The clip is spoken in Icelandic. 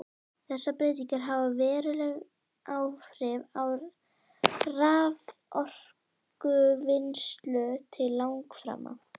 Þessar breytingar hafa veruleg áhrif á raforkuvinnslu til langframa.